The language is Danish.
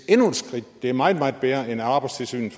endnu et skridt det er meget meget bedre end at arbejdstilsynet